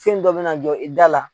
Fɛn dɔ bɛna jɔ i da la.